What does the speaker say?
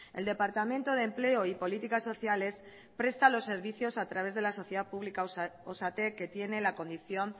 el departamento de empleo y políticas sociales presta los servicios a través de la sociedad pública osatek que tiene la condición